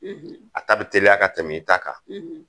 A ta bi teliya ka tɛmɛ i ta kan